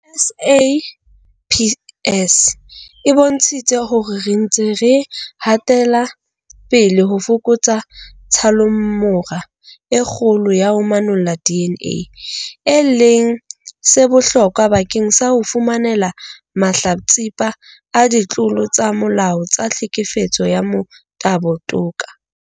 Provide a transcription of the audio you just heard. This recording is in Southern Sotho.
SAPS e bontshitse hore re ntse re hatela pele ho fokotsa tshallomora e kgolo ya ho manolla DNA, e leng se bohlokwa bakeng sa ho fumanela mahlatsipa a ditlolo tsa molao tsa tlhekefetso ya motabo toka.